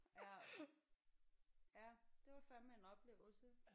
Ja ja det var fandeme en oplevelse